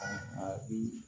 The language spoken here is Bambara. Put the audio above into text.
A bi